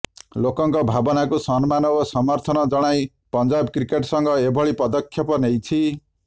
ଲେକଙ୍କ ଭାବନାକୁ ସମ୍ମାନ ଓ ସମର୍ଥନ ଜଣାଇ ପଂଜାବ କ୍ରିକେଟ ସଂଘ ଏଭଳି ପଦକ୍ଷେପ ନେଇଛି